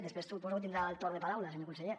després suposo tindrà el torn de paraula senyor conseller